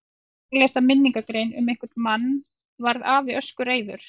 Heiða var að lesa minningargrein um einhvern mann varð afi öskureiður.